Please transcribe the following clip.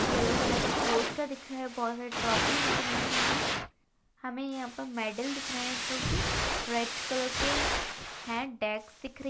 yellow colour का poster दिख रहा है बहुत सारी ट्रॉफी दिख रही हैं हमें यहाँ पर मैडल दिख रहे हैं जो कि रेड कलर के हैं डेक्स दिख रही --